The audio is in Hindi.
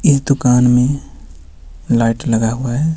इस दुकान में लाइट लगा हुआ है.